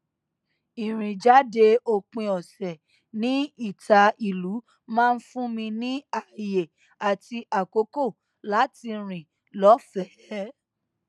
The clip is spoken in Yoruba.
ìrìn jáde òpin ọsẹ ní ìta ìlú maá n fún mi ní ààyè àti àkókò láti rìn lọfẹẹ